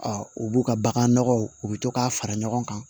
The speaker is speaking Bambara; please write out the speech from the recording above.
u b'u ka bagan nɔgɔw u bɛ to k'a fara ɲɔgɔn kan